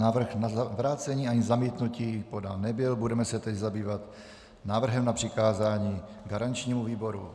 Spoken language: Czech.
Návrh na vrácení ani zamítnutí podán nebyl, budeme se tedy zabývat návrhem na přikázání garančnímu výboru.